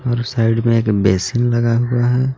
और उस साइड में एक बेसिन लगा हुआ है।